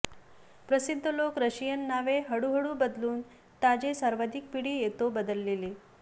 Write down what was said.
प्रसिद्ध लोक रशियन नावे हळूहळू बदलून ताजे सर्वाधिक पिढी येतो बदलले